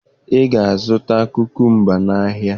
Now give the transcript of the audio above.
Ị ga-azụta kukumba n'ahịa!